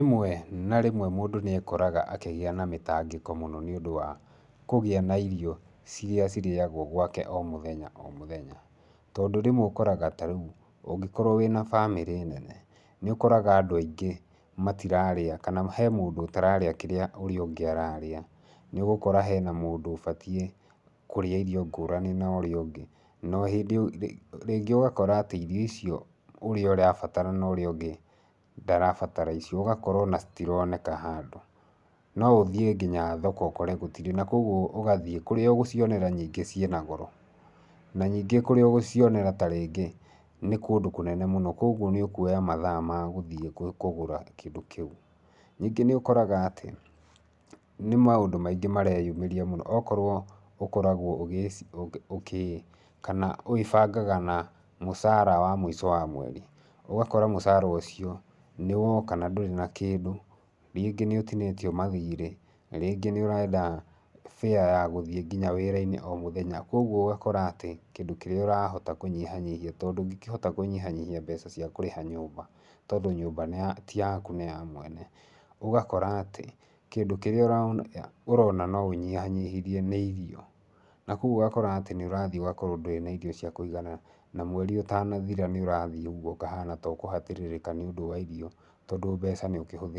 Rĩmwe na rĩmwe mũndũ nĩekoraga akĩgĩa na mĩtangĩko mũno nĩ ũndũ wa, kũgĩa na irio iria cirĩagwo gwake o mũthenya o mũthenya. Tondũ rĩmwe ũkoraga ta rĩu, ũngĩkorwo wĩna bamĩrĩ nene, nĩũkoraga andũ aingĩ matirarĩa, kana he mũndũ ũtararĩa kĩrĩa ũrĩa ũngĩ ararĩa. Nĩ ũgukora hena mũndũ ũbatie kũrĩa irio ngũrani na ũrĩa ũngĩ. Na rĩngĩ ũgakora atĩ irio icio ũrĩa ũrabatara na ũrĩa ũngĩ ndarabatara icio ũgakora o na citironekana handũ. No ũthiĩ nginya thoko ũkore gũtĩrĩ. Na kũoguo ũgathiĩ, kũrĩa ũgũcionera ningĩ cina goro. Na ningĩ kũria ũgũcionera ta rĩngĩ nĩ kũndũ kũnene mũno, kũoguo nĩ ũkuoya mathaa ma gũthiĩ kũgũra kĩndũ kĩu. Ningi nĩũkoraga atĩ, nĩ maũndũ maingĩ mareyumeria mũno. O korwo ũkoragwo ugĩciria kana wĩbangaga na mũcara wa mũico wa mweri, Ũgakora mũcara ũcio, nĩwoka nandũrĩ na kĩndũ. Rĩngĩ nĩ ũtiniitio mathire, rĩngĩ nĩũrenda bĩa ya gũthiĩ nginya wĩra-inĩ o mũthenya. Kũoguo ũgakora atĩ kĩndũ kĩrĩa ũrahota kũnyihanyihia tondũ ndũngĩkĩhota kũnyihanyihia mbeca cia kũrĩha nyũmba tondũ nyũmba ti yaku nĩ ya mwene, ũgakora atĩ kĩndũ kĩrĩa ũrona no unyihanyihirie nĩ irio. Na kũoguo ũgakora atĩ nĩ ũrathiĩ ũgakora ndũrĩ na irio cia kuigana, Na mweri ũtanathira nĩ ũrathiĩ ũguo ũkahana ta ũkuhinyiririka, tondũ mbeca nĩ ukĩhũthĩrire.